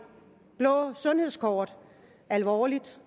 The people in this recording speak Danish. blå sundhedskort alvorligt